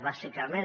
bàsicament